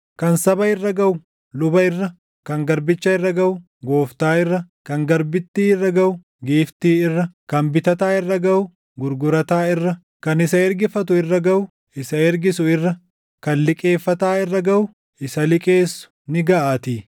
Kan saba irra gaʼu luba irra, kan garbicha irra gaʼu gooftaa irra, kan garbittii irra gaʼu giiftii irra, kan bitataa irra gaʼu gurgurataa irra, kan isa ergifatu irra gaʼu, isa ergisu irra, kan liqeeffataa irra gaʼu, isa liqeessu ni gaʼaatii.